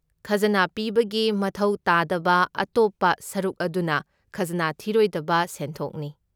ꯈꯖꯅꯥ ꯄꯤꯕꯒꯤ ꯃꯊꯧ ꯇꯥꯗꯕ ꯑꯇꯣꯞꯄ ꯁꯔꯨꯛ ꯑꯗꯨꯅ ꯈꯖꯅꯥ ꯊꯤꯔꯣꯏꯗꯕ ꯁꯦꯟꯊꯣꯛꯅꯤ꯫